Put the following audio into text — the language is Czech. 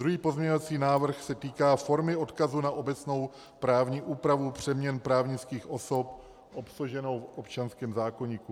Druhý pozměňovací návrh se týká formy odkazu na obecnou právní úpravu přeměn právnických osob obsaženou v občanském zákoníku.